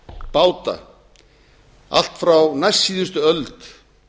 báta allt frá næstsíðustu öld